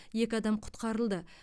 екі адам құтқарылды